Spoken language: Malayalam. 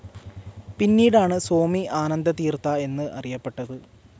പിന്നീടാണ് സ്വാമി ആനന്ദതീർഥ എന്ന് അറിയപ്പെട്ടത്.